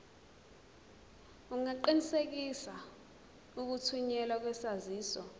ungaqinisekisa ukuthunyelwa kwesaziso